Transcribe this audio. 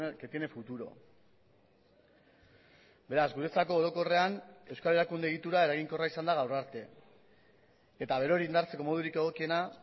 que tiene futuro beraz guretzako orokorrean euskal erakunde egitura eraginkorra izan da gaur arte eta berori indartzeko modurik egokiena